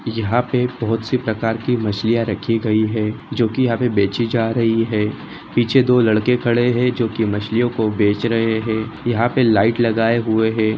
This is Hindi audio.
यहाँ पे बहुत सी प्रकार की मछलियाँ रखी गई हैं जो की यहाँ पे बेचीं जा रही हैं पीछे दो लड़के खड़े हैं जो कि मछलियों को बेच रहे हैं यहाँ पे लाइट लगाई हुई हैं।